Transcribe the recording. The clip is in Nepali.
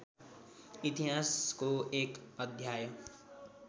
इतिहासको एक अध्याय